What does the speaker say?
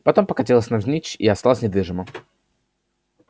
потом покатилась навзничь и осталась недвижима